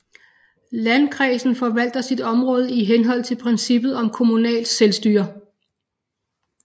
Landkredsen forvalter sit område i henhold til princippet om kommunalt selvstyre